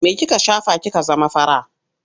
Me kika shafa kika zama fara?